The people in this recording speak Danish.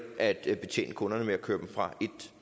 at betjene kunderne ved at køre dem fra